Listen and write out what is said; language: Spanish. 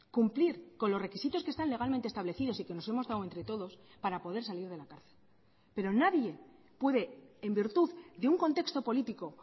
cumplir con los requisitos que están legalmente establecidos y que nos hemos dado entre todos para poder salir de la cárcel pero nadie puede en virtud de un contexto político